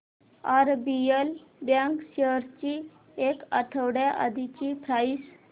RBL bank shares ची एक आठवड्या आधीची प्राइस